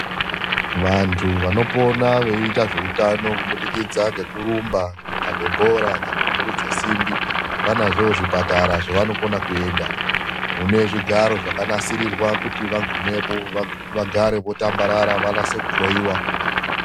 Vantu vanopona veiita zveutano kubidokidza ngekurumba ,kukabe bhora kana kumurudza simbi vanazvoo zvipatara zvevanokona kuenda mune zvigaro zvakanasirirwa kuti vagumepo vogara votambarara vanase kuhloyiwa.